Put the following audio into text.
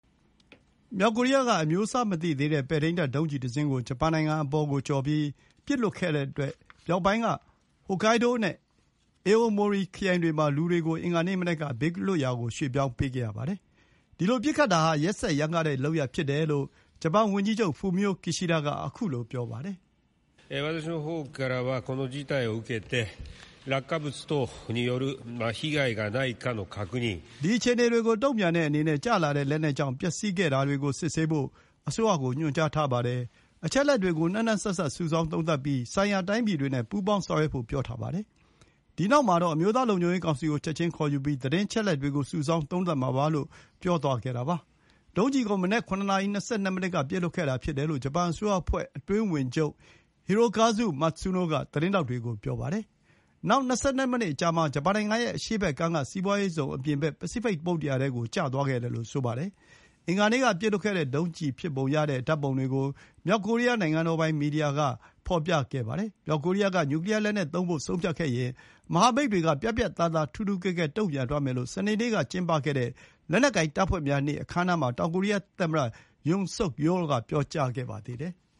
မြောက်ကိုရီးယားက အမျိုးအစားမသိသေးတဲ့ ပဲ့ထိန်းတပ်ဒုံးကျည်တစင်းကို ဂျပန်နိုင်ငံပေါ်ကိုကျော်ပြီး ပစ်လွှတ်လိုက်တဲ့အတွက် မြောက်ပိုင်းက ဟိုကိုင်းဒိုး (Hokkaido) နဲ့ အေအိုမိုရီ (Aomori) ခရိုင်တွေမှာ လူတွေကို အင်္ဂါနေ့မနက်က ဘေးလွတ်ရာရွှေ့ပြောင်းခဲ့ရပါတယ်။ ဒီလိုပစ်ခတ်တာဟာ ရက်စက်ရမ်းကားတဲ့လုပ်ရပ်ဖြစ်တယ်လို့ ဂျပန်ဝန်ကြီးချုပ် Fumio Kishida က ပြောပါတယ်။ “ဒီအခြေအနေကိုတုံ့ပြန်တဲ့အနေနဲ့ ကျလာတဲ့လက်နက်ကြောင့် ပျက်စီးခဲ့တာတွေကို စစ်ဆေးဖို့ အစိုးရကို ညွှန်ကြားထားပါတယ်။ အချက်အလက်တွေကို နှံ့နှံ့စပ်စပ် စုဆောင်းသုံးသပ်ပြီး ဆိုင်ရာတိုင်းပြည်တွေနဲ့ ပူးပေါင်းဆောင်ရွက်ဖို့ ပြောထားပါတယ်။ ဒီနောက်မှာတော့ အမျိုးသားလုံခြုံရေးကောင်စီကို ချက်ချင်းခေါ်ယူပြီး သတင်းအချက်အလက်တွေကို စုဆောင်း သုံးသပ်မှာပါ။” လို့ ပြောသွားခဲ့တာပါ။ ဒုံးကျည်ကို မနက် ၇ နာရီ ၂၂ မိနစ်က ပစ်လွှတ်ခဲ့တာဖြစ်တယ်လို့ ဂျပန်အစိုးရအဖွဲ့ အတွင်းဝန်ချုပ် Hirokazu Matsuno က သတင်းထောက်တွေကို ပြောပါတယ်။ နောက် ၂၂ မိနစ်အကြာမှာ ဂျပန်နိုင်ငံရဲ့အရှေ့ဘက်ကမ်းက စီးပွါးရေးဇုံအပြင်ဘက် ပစိဖိတ် သမုဒ္ဒရာထဲကို ကျသွားခဲ့တယ်လို့ ဆိုပါတယ်။ အင်္ဂါနေ့က ပစ်လွှတ်ခဲ့တဲ့ဒုံးကျည်ဖြစ်ပုံရတဲ့ဓာတ်ပုံတွေကို မြောက်ကိုရီးယား နိုင်ငံပိုင် မီဒီယာက ဖော်ပြခဲ့ပါတယ်။ မြောက်ကိုရီးယားက နျူကလီယာလက်နက်သုံးဖို့ဆုံးဖြတ်ခဲ့ရင် မဟာမိတ်တွေက ပြတ်ပြတ်သားသား ထူးထူးကဲကဲ တုံ့ပြန်သွားမယ်လို့ စနေနေ့ကကျင်းပခဲ့တဲ့ လက်နက်ကိုင်တပ်ဖွဲ့များနေ့ အခမ်းအနားမှာ တောင်ကိုရီးယားသမ္မတ Yoon Suk Yeol က ပြောကြားခဲ့ပါသေးတယ်။